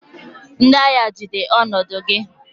Ndị agha, jide ọnọdụ gị!